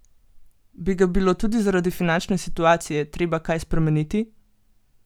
Bi ga bilo tudi zaradi finančne situacije treba kaj spremeniti?